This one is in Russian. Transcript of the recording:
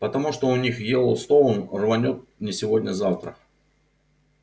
потому что у них йеллоустон рванёт не сегодня-завтра